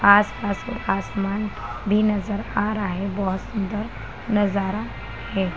आसपास आसमान भी नजर आ रहा है बहुत सुंदर नजारा है।